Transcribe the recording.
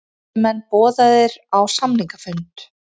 Bræðslumenn boðaðir á samningafund